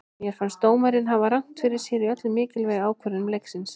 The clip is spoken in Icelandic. Mér fannst dómarinn hafa rangt fyrir sér í öllum mikilvægu ákvörðunum leiksins.